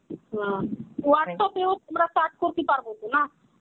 হ্যা, চাষ করতি পারবো তো না?